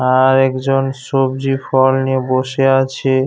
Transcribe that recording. আর একজন সবজি ফল নিয়ে বসে আছে।